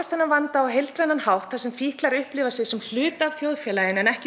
þennan vanda á heildrænan hátt þar sem fíklar upplifa sig sem hluta af þjóðfélaginu en ekki